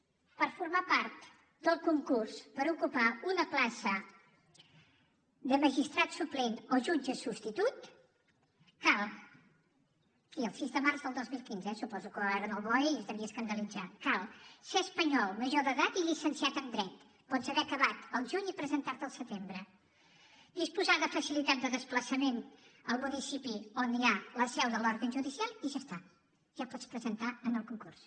per formar part del concurs per ocupar una plaça de magistrat suplent o jutge substitut aquí el sis de març del dos mil quinze eh suposo que ho va veure en el boe i es devia escandalitzar cal ser espanyol major d’edat i llicenciat en dret pots haver acabat al juny i presentar t’hi al setembre disposar de facilitar de desplaçament al municipi on hi ha la seu de l’òrgan judicial i ja està ja et pots presentar al concurs